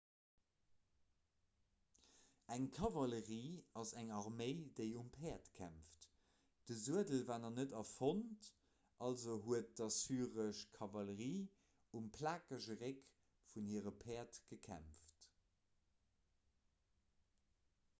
eng kavallerie ass eng arméi déi um päerd kämpft de suedel war nach net erfonnt also huet d'assyresch kavallerie um plakege réck vun hire päerd gekämpft